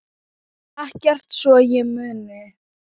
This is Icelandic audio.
Ekkert svo ég muni.